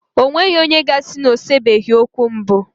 E nweghi onye ga-asi na o sebeghi okwu mbụ